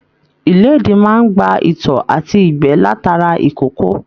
Ilédì máa n gbà ìtọ̀ àti igbẹ látara ikòkò.